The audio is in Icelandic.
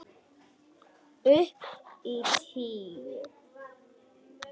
Upp á tíu!